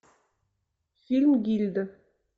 фильм гильда